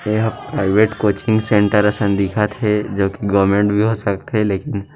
ए ह private coaching centre असन दिखत हे जो की गवर्नमेंट भी हो सकथे लेकिन --